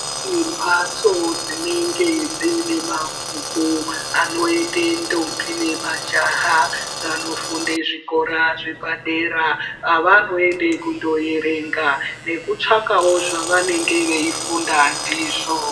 Kune mbatso dzinenge dziine mabhuku anoende ntombi nemajaha vanofunde zvikora zvepadera avanoende kundoerenga nekutsvakawo zvavanenge veifunda ndizvo.